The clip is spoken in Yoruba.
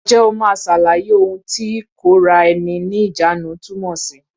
Ǹjẹ́ o máa ṣàlàyé ohun tí ìkóra ẹni ní ìjánu túmọ̀ sí?